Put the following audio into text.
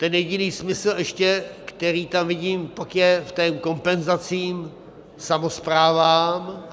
Ten jediný smysl ještě, který tam vidím, pak je v té kompenzaci samosprávám.